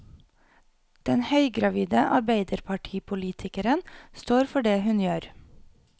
Den høygravide arbeiderpartipolitikeren står for det hun gjør.